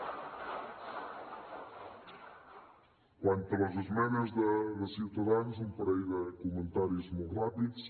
quant a les esmenes de ciutadans un parell de comentaris molt ràpids